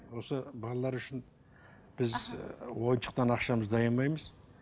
осы балалар үшін біз ойыншықтан ақшамызды аямаймыз